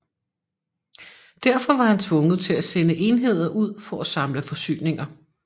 Derfor var han tvunget til at sende enheder ud for at samle forsyninger